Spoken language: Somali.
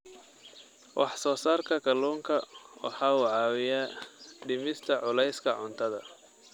Wax-soo-saarka kalluunka waxa uu caawiyaa dhimista culayska cuntada.